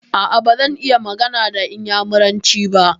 A'a, bazan iya magana da inyamuranci ba.